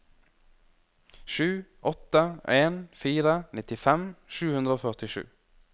sju åtte en fire nittifem sju hundre og førtisju